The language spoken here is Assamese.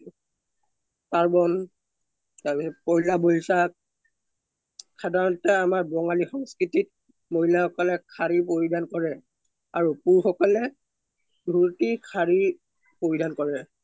পাৰ্ৱন, পোহেলা বোইশখ সাধাৰণতে আমাৰ বাংলী সংস্কৃতিত মাহিলা সকলে সাৰি পৰিধান কৰে আৰু পুৰুশ সকলে সাৰি পৰিধান কৰে